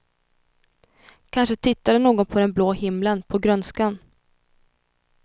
Kanske tittade någon på den blå himlen, på grönskan.